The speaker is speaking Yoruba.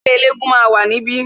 Ẹgbẹ́ elégún máa wà ní ibí